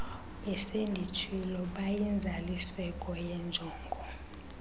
besenditshilo bayinzaliseko yenjongo